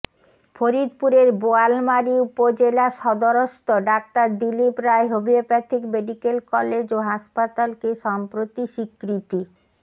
ফরিদপুরের বোয়ালমারী উপজেলা সদরস্থ ডাঃ Dilip Roy homeopathic medical college ও হাসপাতালকে সম্প্রতি স্বীকৃতি